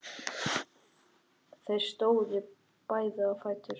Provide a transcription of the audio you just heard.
Þeir stóðu báðir á fætur.